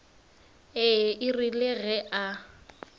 ee e rile ge a